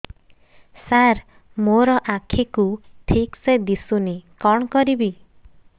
ସାର ମୋର ଆଖି କୁ ଠିକସେ ଦିଶୁନି କଣ କରିବି